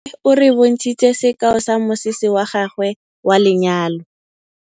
Nnake o re bontshitse sekaô sa mosese wa gagwe wa lenyalo.